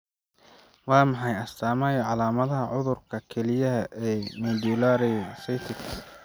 Waa maxay astaamaha iyo calaamadaha cudurka kelyaha ee Medullary cystic?